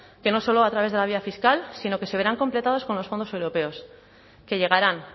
que no solo a través de la vía fiscal sino que se verán completadas con los fondos europeos que llegarán